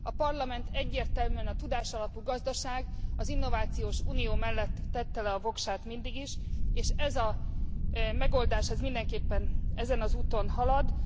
A Parlament egyértelműen a tudásalapú gazdaság, az innovációs unió mellett tette le a voksát mindig is, és ez a megoldás mindenképpen ezen az úton halad.